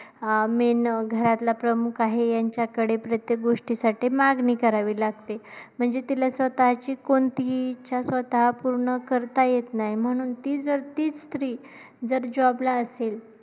अं main घरातला प्रमुख आहे, यांच्याकडे प्रत्येक गोष्टीसाठी मागणी करावी लागते म्हणजे तिला स्वतःची कोणतीही इच्छा स्वतः पूर्ण करता येत नाही म्हणून ती जर तीच स्त्री जर job ला असेल.